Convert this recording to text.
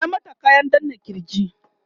ya mata kayan danna kirj?